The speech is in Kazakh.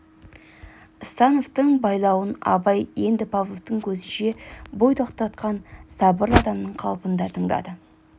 становтың байлауын абай енді павловтың көзінше бой тоқтатқан сабырлы адамның қалпында тыңдады